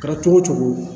Kɛra cogo o cogo